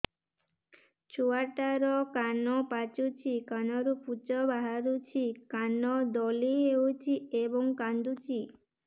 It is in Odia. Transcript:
ଛୁଆ ଟା ର କାନ ପାଚୁଛି କାନରୁ ପୂଜ ବାହାରୁଛି କାନ ଦଳି ହେଉଛି ଏବଂ କାନ୍ଦୁଚି